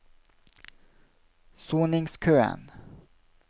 soningskøen